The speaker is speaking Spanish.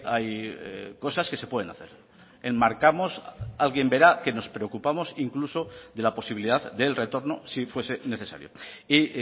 hay cosas que se pueden hacer enmarcamos alguien verá que nos preocupamos incluso de la posibilidad del retorno si fuese necesario y